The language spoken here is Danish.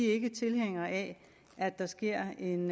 ikke tilhængere af at der sker en